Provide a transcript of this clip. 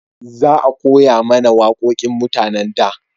Za a koya mana wawaƙoƙin mutanen da